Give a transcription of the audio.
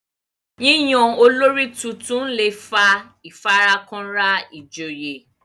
yíyan olórí títún lẹ fà ifarakanra ijoye